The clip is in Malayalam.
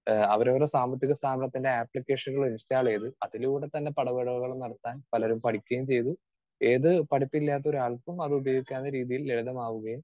സ്പീക്കർ 2 ഏഹ് അവരവരുടെ സാമ്പത്തിക സ്ഥാപനത്തിൻറെ ആപ്ലിക്കേഷനുകൾ ഇൻസ്റ്റാൾ ചെയ്ത് അതിലൂടെ തന്നെ പണമിടപാടുകൾ നടത്താൻ പലരും പഠിക്കുകയും ചെയ്തു. ഏത് പഠിപ്പില്ലാത്തൊരാൾക്കും അത് ഉപയോഗിക്കാവുന്ന രീതിയിൽ ലളിതമാവുകയും